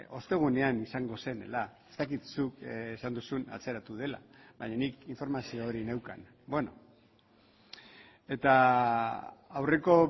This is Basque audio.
ostegunean izango zela ez dakit zuk esan duzun atzeratu dela baina nik informazio hori neukan eta aurreko